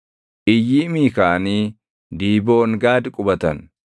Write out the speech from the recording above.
Iyyiimii kaʼanii Diiboongaad qubatan.